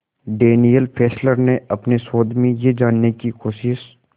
Daniel Fessler ने अपने शोध में यह जानने की कोशिश